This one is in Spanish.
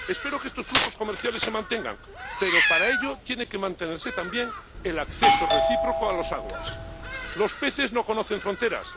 Espero que estos flujos comerciales se mantengan, pero, para ello, tiene que mantenerse también el acceso recíproco a las aguas los peces no conocen fronteras